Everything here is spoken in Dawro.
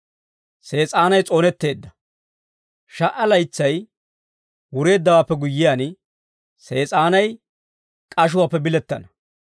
Sha"a laytsay wureeddawaappe guyyiyaan, Sees'aanay k'ashuwaappe bilettana.